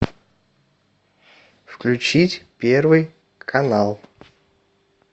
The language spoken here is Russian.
включить первый канал